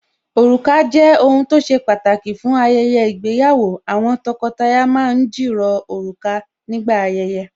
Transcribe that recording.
Òrùka jẹ́ ohun tó ṣe pàtàkì fún ayẹyẹ ìgbéyàwó Àwọn tọkọtaya ma ń jìrọ̀ òrùka nígbà ayẹyẹ